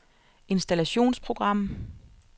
installationsprogram